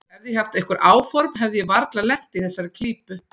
Hefði ég haft einhver áform hefði ég varla lent í þessari klípu.